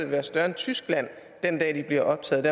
være større end tyskland den dag de bliver optaget